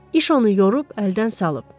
İş onu yorub, əldən salıb.